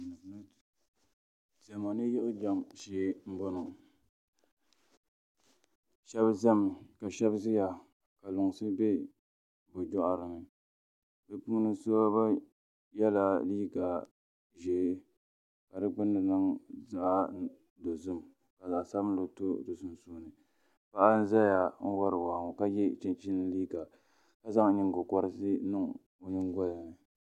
Diɛma ni yiɣi jɛm shee n boŋo shab ʒɛmi ka shab ʒiya ka lunsi bɛ bi boɣari ni bi puuni shab yɛla liiga ʒiɛ ka di gbunni niŋ zaɣ dozim ka zaɣ sabinli to di sunsuuni paɣa n ʒɛya n wori waa ŋo ka yɛ chinchin liiga ka zaŋ nyingokoriti n niŋ o nyingoli ni